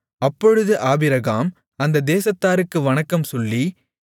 அப்பொழுது ஆபிரகாம் அந்தத் தேசத்தாருக்கு வணக்கம் சொல்லி